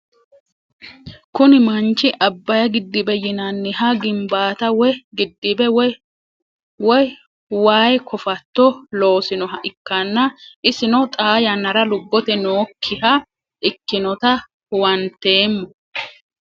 Kuni maanich abay gidibe yinaniha gimbata woye gidibe woyi way kofato loosinoha ikana isino xaa yanara lubote nookiha ikinota huwantemo